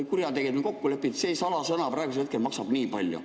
Kurjategijad on kokku leppinud, et see salasõna praegusel hetkel maksab nii palju.